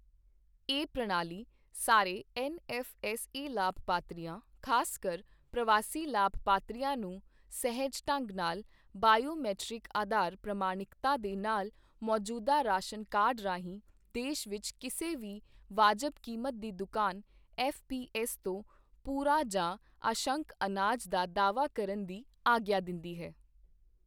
ਇਹ ਪ੍ਰਣਾਲੀ ਸਾਰੇ ਐਨਐੱਫ਼ਐੱਸਏ ਲਾਭਪਾਤਰੀਆਂ, ਖ਼ਾਸਕਰ ਪ੍ਰਵਾਸੀ ਲਾਭਪਾਤਰੀਆਂ ਨੂੰ ਸਹਿਜ ਢੰਗ ਨਾਲ ਬਾਇਓਮੀਟ੍ਰਿਕ ਆਧਾਰ ਪ੍ਰਮਾਣਿਕਤਾ ਦੇ ਨਾਲ ਮੌਜੂਦਾ ਰਾਸ਼ਨ ਕਾਰਡ ਰਾਹੀਂ ਦੇਸ਼ ਵਿਚ ਕਿਸੇ ਵੀ ਵਾਜਬ ਕੀਮਤ ਦੀ ਦੁਕਾਨ ਐੱਫਪੀਐੱਸ ਤੋਂ ਪੂਰਾ ਜਾਂ ਅੰਸ਼ਕ ਅਨਾਜ ਦਾ ਦਾਅਵਾ ਕਰਨ ਦੀ ਆਗਿਆ ਦਿੰਦੀ ਹੈ।